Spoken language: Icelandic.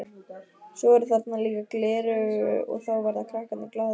Svo eru þarna líka gleraugu og þá verða krakkarnir glaðir.